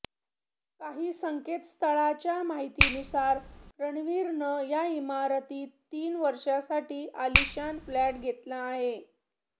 काही संकेतस्थळांच्या माहितीनुसार रणवीरनं या इमारतीत तीन वर्षांसाठी आलिशान फ्लॅट घेतला आहे